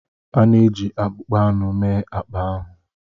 A na-eji akpụkpọ anụ mee akpa ahụ.